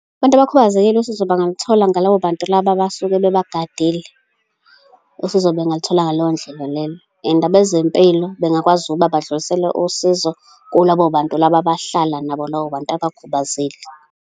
Abantu abakhubazekile usizo bangalithola ngalabo bantu laba abasuke bebagadile. Usizo bengalithola ngaleyo ndlela leyo, and abezempilo bengakwazi ukuba badlulisele usizo kulabo bantu laba abahlala nabo labo bantu abakhubazekile.